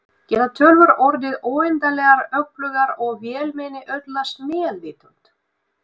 Geta tölvur orðið óendanlegar öflugar og vélmenni öðlast meðvitund?